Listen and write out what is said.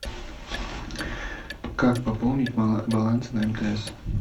как пополнить баланс на мтс